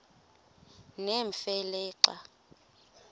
nemfe le xa